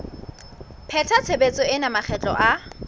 pheta tshebetso ena makgetlo a